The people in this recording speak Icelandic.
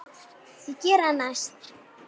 Ég geri það næst.